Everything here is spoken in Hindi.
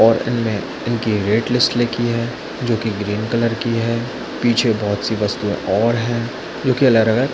और इसमें इनके रेट लिस्ट लिखी है जोकि ग्रीन कलर की है पीछे बहुत -सी वस्तुयें और है जोकि अलग-अलग --